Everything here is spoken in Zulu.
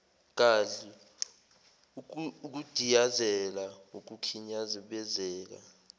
gadli ukudiyazela ukukhinyabezeka